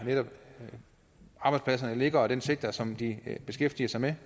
arbejdspladserne ligger og den sektor som de beskæftiger sig med